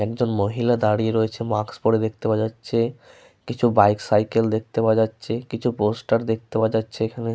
একজন মহিলা দাঁড়িয়ে রয়েছে মাস্ক পরে দেখতে পাওয়া যাচ্ছে। কিছু বাইক সাইকেল দেখতে পাওয়া যাচ্ছে। কিছু পোস্টার দেখতে পাওয়া যাচ্ছে এখানে।